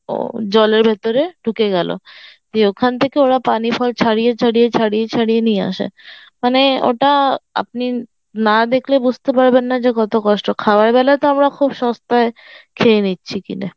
ও জলের ভেতর ঢুকে গেল দিয়ে ওখান থেকে ওরা পানির ফল ছাড়িয়ে ছাড়িয়ে ছাড়িয়ে ছাড়িয়ে নিয়ে আসে মানে ওটা আপনি না দেখলে বুঝতে পারবেন না যে কত কষ্ট খাবার বেলা তো আমরা খুব সস্তায় খেয়ে নিচ্ছি কিনে